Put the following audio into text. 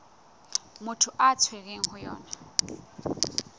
motho a tshwerweng ho yona